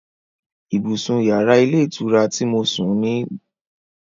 Ibùsùn yàrá ilé ìtura ti mo sùn sí dára púpọ̀